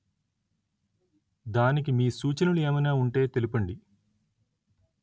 దానికి మీ సూచనలు ఏమయినా ఉంటే తెలుపండి